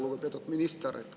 Lugupeetud minister!